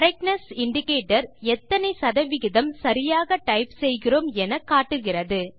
correctness indicator எத்தனை சத விகிதம் சரியாக டைப் செய்கிறோம் என காட்டுகிறது